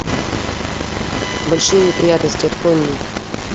большие неприятности открой мне